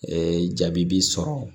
jaabi b'i sɔrɔ